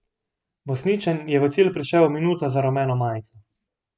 Besničan je v cilj prišel minuto za rumeno majico.